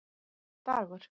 Dagur